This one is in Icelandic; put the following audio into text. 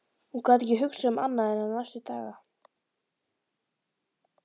Hún gat ekki hugsað um annað en hann næstu daga.